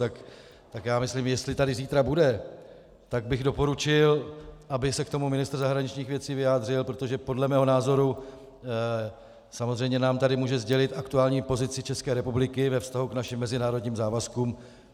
Tak já myslím, jestli tady zítra bude, tak bych doporučil, aby se k tomu ministr zahraničních věcí vyjádřil, protože podle mého názoru samozřejmě nám tady může sdělit aktuální pozici České republiky ve vztahu k našim mezinárodním závazkům.